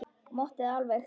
Og mátti það alveg.